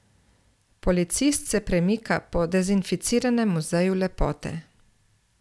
Policist se premika po dezinficiranem muzeju lepote.